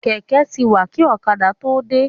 Kẹ̀kẹ́ ti wà kí ọ̀kadà tó dé.